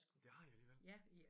Det har I alligevel?